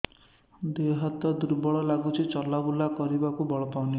ଦେହ ହାତ ଦୁର୍ବଳ ଲାଗୁଛି ଚଲାବୁଲା କରିବାକୁ ବଳ ପାଉନି